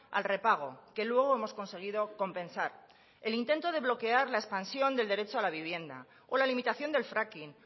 al repago que luego hemos conseguido compensar el intento de bloquear la expansión del derecho a la vivienda o la limitación del fracking